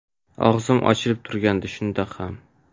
Og‘zim ochilib turgandi shundoq ham”.